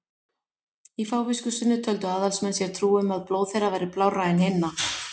Í fávisku sinni töldu aðalsmenn sér trú um að blóð þeirra væri blárra en hinna.